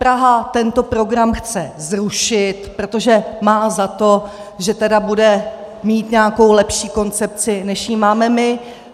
Praha tento program chce zrušit, protože má za to, že tedy bude mít nějakou lepší koncepci, než ji máme my.